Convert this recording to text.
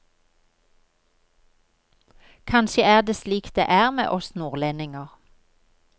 Kanskje er det slik det er med oss nordlendinger.